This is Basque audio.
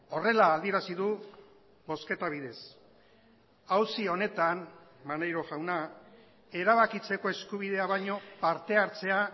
horrela adierazi du bozketa bidez auzi honetan maneiro jauna erabakitzeko eskubidea baino partehartzea